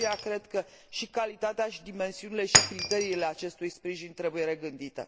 De aceea, cred că și calitatea și dimensiunile și criteriile acestui sprijin trebuie regândite.